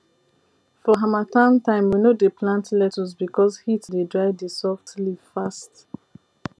for harmattan time we no dey plant lettuce because heat dey dry the soft leaf fast